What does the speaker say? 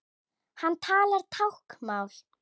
Hann talar táknmál.